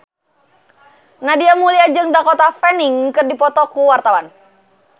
Nadia Mulya jeung Dakota Fanning keur dipoto ku wartawan